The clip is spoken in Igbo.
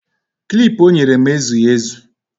Klip o nyere m ezughị ezu